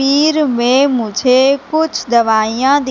में मुझे कुछ दवाइयां दिख--